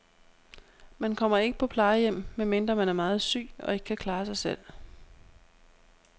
Man kommer ikke på plejehjem, medmindre man er meget syg og ikke kan klare sig selv.